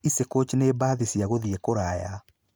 Easy coach nĩ mbathi cia gũthiĩ kũraya.